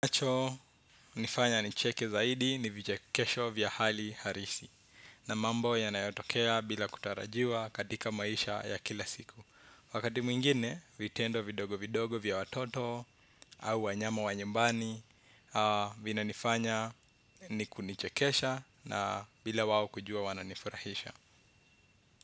Ninacho, nifanya nicheka zaidi ni vichekesho vya hali halisi. Na mambo yanayotokea bila kutarajiwa katika maisha ya kila siku wakati mwingine, vitendo vidogo vidogo vya watoto au wanyama wa nyumbani vinanifanya kunichekesha bila wao kujua wananifurahisha.